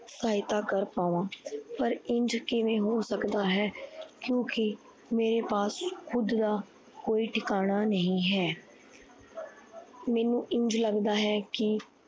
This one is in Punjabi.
ਸਹਾਇਤਾ ਕਰ ਪਾਵਾ ਪਰ ਇੰਝ ਕਿੱਦਾਂ ਹੋ ਸਕਦਾ ਹੈ ਕਿਉਕਿ ਮੇਰੇ ਪਾਸ ਖੁਦ ਦਾ ਕੋਈ ਟਿਕਾਣਾ ਨਹੀਂ ਹੈ। ਮੈਨੂੰ ਇੰਝ ਲੱਗਦਾ ਹੈ। ਕੀ